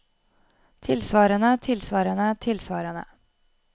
tilsvarende tilsvarende tilsvarende